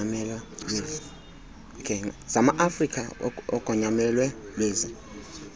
zamaafrika ugonyamelo lwezi